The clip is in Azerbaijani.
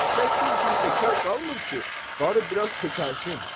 Eşşək bir gün bekar qalmır ki, barı biraz köçəlsin.